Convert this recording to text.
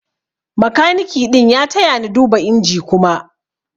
makaniki ɗin ya taya ni duba inji Kuma.